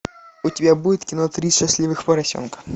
у тебя будет кино три счастливых поросенка